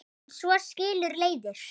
En svo skilur leiðir.